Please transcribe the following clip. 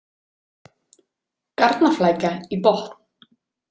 Garnaflækja í botn-.